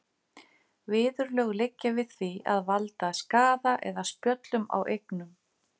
Viðurlög liggja við því að valda skaða eða spjöllum á eignum.